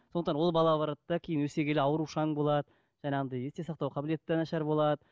сондықтан ол бала барады да кейін өсе келеді аурушаң болады жаңағындай есте сақтау қабілеті де нашар болады